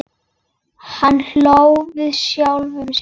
Hann hló með sjálfum sér.